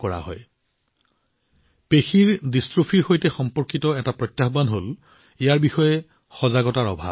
muscular ডিষ্ট্ৰোফিৰ সৈতে সম্পৰ্কিত আন এটা প্ৰত্যাহ্বান হল ইয়াৰ বিষয়ে সজাগতাৰ অভাৱ